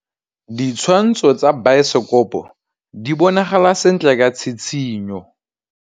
Ditshwantshô tsa biosekopo di bonagala sentle ka tshitshinyô.